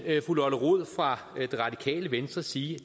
fru lotte rod fra det radikale venstre sige